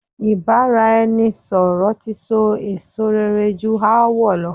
Ìbáraẹnisọ̀rọ̀ ti so èso rere ju aáwọ̀ lọ.